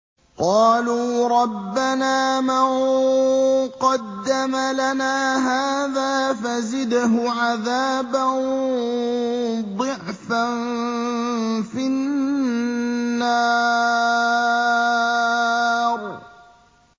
قَالُوا رَبَّنَا مَن قَدَّمَ لَنَا هَٰذَا فَزِدْهُ عَذَابًا ضِعْفًا فِي النَّارِ